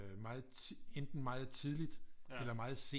Meget enten meget tidligt eller meget sent